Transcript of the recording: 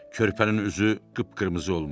Körpənin üzü qıpqırmızı olmuşdu.